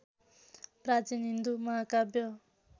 प्राचीन हिन्दू महाकाव्य